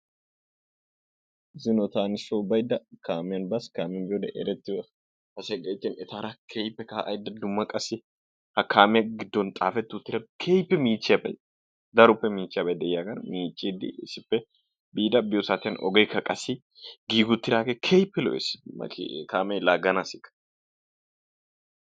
zino taani soo baydda kaamiyan baas, kaamiyan baydda erettiyo asay gayttin etaara keehippe kaa'aydda dumma qassi ha kaamee giddon xaafeti uttida keehippe michchiyaaba, daroppe miichchiyaaba de'iyaagan miiccide issippe biida biyo saatiyaan ogekka qassi giigi uttidaage keehippe lo''essi mati kaamee laaganassikka.